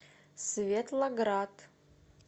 светлоград